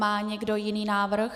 Má někdo jiný návrh?